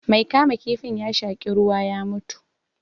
Mai kama kifin ya shaƙi ruwa ya mutu